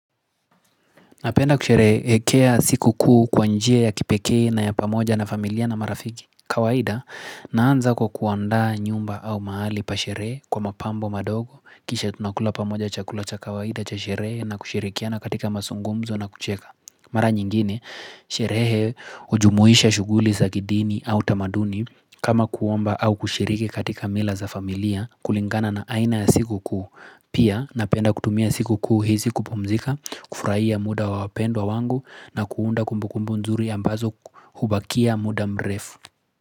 Napenda kusherehekea siku kuu kwa njia ya kipekee na ya pamoja na familia na marafiki kawaida naanza kwa kuandaa nyumba au mahali pasherehe kwa mapambo madogo Kisha tunakula pamoja cha kula cha kawaida cha sherehe na kushirikiana katika mazungumzo na kucheka Mara nyingine sherehe hujumuisha shughuli za kidini au tamaduni kama kuomba au kushiriki katika mila za familia kulingana na aina ya siku kuu Pia napenda kutumia siku kuu hizi kupumzika, kufurahia muda wa wapendwa wangu na kuunda kumbukumbu nzuri ambazo hubakia muda mrefu.